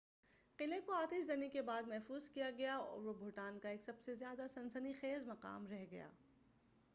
قلعے کو آتش زنی کے بعد محفوظ کیا گیا وہ بھوٹان کا ایک سب سے زیادہ سنسنی خیز مقام رہ گیا